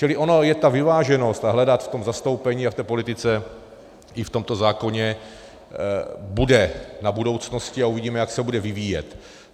Čili ona je ta vyváženost, a hledat v tom zastoupení a v té politice i v tomto zákoně bude na budoucnosti a uvidíme, jak se bude vyvíjet.